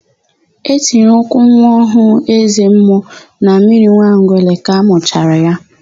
E tinyere ụkwụ nwa ọhụụ eze mmụọ na mmiri Nwangele ka amụchara ya.